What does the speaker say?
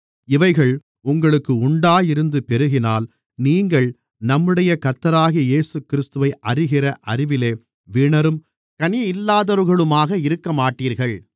இவைகள் உங்களுக்கு உண்டாயிருந்து பெருகினால் நீங்கள் நம்முடைய கர்த்தராகிய இயேசுகிறிஸ்துவை அறிகிற அறிவிலே வீணரும் கனியில்லாதவர்களுமாக இருக்கமாட்டீர்கள்